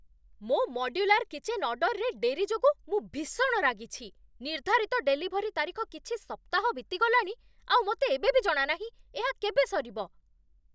ମୋ modular kitchen ଅର୍ଡର୍‌ରେ ଡେରି ଯୋଗୁଁ ମୁଁ ଭୀଷଣ ରାଗିଛି। ନିର୍ଦ୍ଧାରିତ ଡେଲିଭରି ତାରିଖ କିଛି ସପ୍ତାହ ବିତିଗଲାଣି, ଆଉ ମୋତେ ଏବେବି ଜଣାନାହିଁ, ଏହା କେବେ ସରିବ।